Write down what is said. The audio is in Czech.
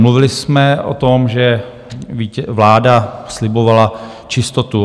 Mluvili jsme o tom, že vláda slibovala čistotu.